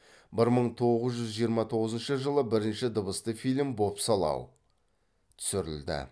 бір мың тоғыз жүз жиырма тоғызыншы жылы бірінші дыбысты фильм бопсалау түсірілді